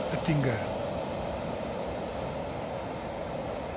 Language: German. Herr Präsident, meine verehrten Damen und Herren Abgeordneten!